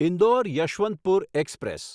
Indore Yesvantpur express